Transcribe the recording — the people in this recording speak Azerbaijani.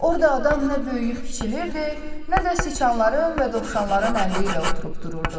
Orda adam nə böyüyüb kiçilirdi, nə də siçanların və dovşanların əmri ilə oturub dururdu.